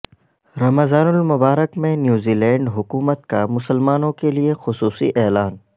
رمضان المبارک میں New Zealand حکومت کا مسلمانوں کیلئے خصوصی اعلان